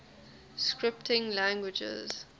scripting languages